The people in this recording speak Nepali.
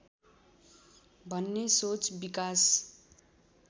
भन्ने सोच विकास